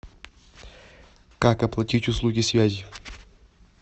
как оплатить услуги связи